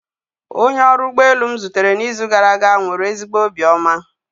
Onye ọrụ ụgbọ elu m zutere n'izu gara aga nwere ezigbo obiọma